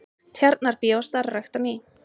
Tjarnarbíó starfrækt á ný